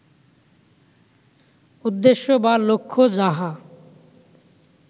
উদ্দেশ্য বা লক্ষ্য যাহা